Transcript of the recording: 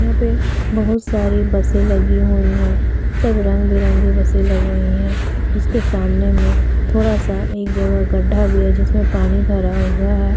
यहाँ पर बहुत सारे बसे लगी हुई है। सब रंग बिरंगी बसे लगी हुए हैं। उसके सामने में थोड़ा सा एक जगह गड्डा भी है। जिसमें पानी भरा हुआ है।